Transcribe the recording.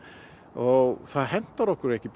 og það hentar okkur ekki